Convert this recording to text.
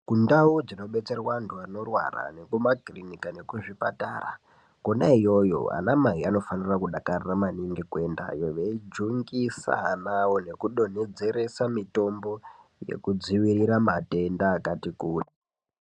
Kundau dzinobetserwa antu anorwara nekumakirinika nekuzvipatara kona iyoyo anamai anofanira kudakarira maningi kuendayo veijungisa ana awo nekudonhedzeresa mitombo yekudzivirira matenda akati kuti.